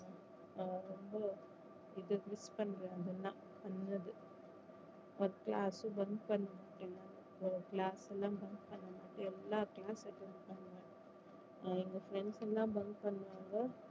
ஆஹ் ரொம்ப இது miss பண்றேன் அது எல்லா பண்ணது ஒரு class bunk பண்ணி விட்டேன் நானு class எல்லாம் bunk பண்ணி விட்டு எல்லா class ம் attend பண்ணாம எங்க friends எல்லாம் bunk பண்ணாங்க